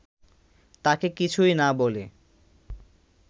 তাঁকে কিছুই না বলে